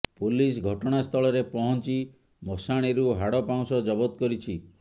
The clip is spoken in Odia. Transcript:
ପୋଲିସ ଘଟଣାସ୍ଥଳରେ ପହଞ୍ଚି ମଶାଣିରୁ ହାଡ ପାଉଁଶ ଜବତ କରିଛି